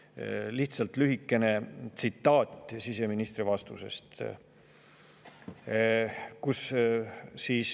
lühikese siseministri vastusest.